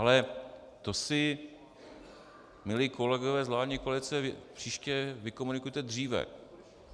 Ale to si, milí kolegové z vládní koalice, příště vykomunikujte dříve.